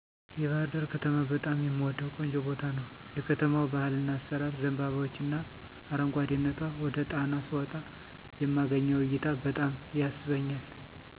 የባህርዳር ከተማ በጣም የምወደው ቆንጆ ቦታ ነው። የከተማው ባህልና አሰራር፣ ዘንባባዎችና አረጓደነቷ፣ ወደ ጣና ስወጣ የማገኘው እይታ በጣም ይስበኛል።